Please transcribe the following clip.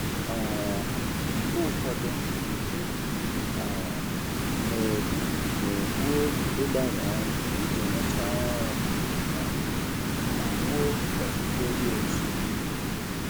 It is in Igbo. um Mgbe ụfọdụ, m um na-egbu na-egbu oge ịgbanwe ọrụ iji rụchaa ọrụ um ma wuo pọtụfoliyo siri ike.